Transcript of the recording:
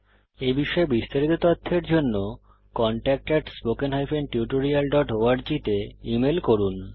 এই বিষয়ে বিস্তারিত তথ্যের জন্য contact at spoken hyphen tutorial dot org তে ইমেল করুন